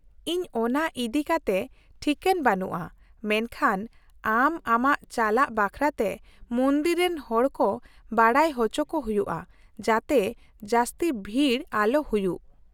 -ᱤᱧ ᱚᱱᱟ ᱤᱫᱤ ᱠᱟᱛᱮ ᱴᱷᱤᱠᱟᱹᱱ ᱵᱟᱹᱱᱩᱧᱟ , ᱢᱮᱱᱠᱷᱟᱱ ᱟᱢ ᱟᱢᱟᱜ ᱪᱟᱞᱟᱜ ᱵᱟᱠᱷᱨᱟᱛᱮ ᱢᱚᱱᱫᱤᱨ ᱨᱮᱱ ᱦᱚᱲ ᱠᱚ ᱵᱟᱰᱟᱭ ᱚᱪᱚ ᱠᱚ ᱦᱩᱭᱩᱜᱼᱟ, ᱡᱟᱛᱮ ᱡᱟᱹᱥᱛᱤ ᱵᱷᱤᱲ ᱟᱞᱚ ᱦᱩᱭᱩᱜ ᱾